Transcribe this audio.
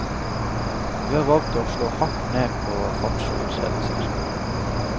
Vi har valgt å slå hardt ned på fartsovertredelser.